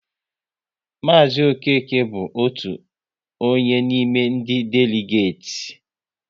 Maazi Okeke bụ otu onye n'ime ndị deligeti